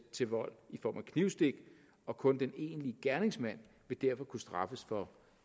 til vold i form af knivstik og kun den enlige gerningsmand vil derfor kunne straffes for